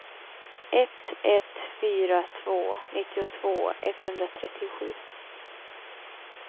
ett ett fyra två nittiotvå etthundratrettiosju